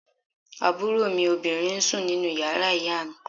Àbúrò mi obìnrin ń sùn nínú yàrá ìyá mi